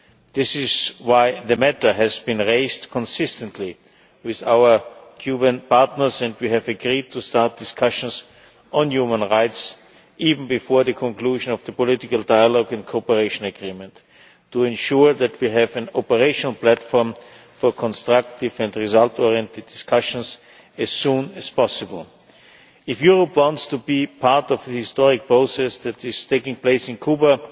This is why the matter has been raised consistently with our Cuban partners, and we have agreed to start discussions on human rights even before the conclusion of the political dialogue and cooperation agreement, to ensure that we have an operational platform for constructive and result oriented discussions as soon as possible. If Europe wants to be part of the historic process that is taking place in Cuba,